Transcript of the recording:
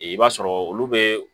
I b'a sɔrɔ olu be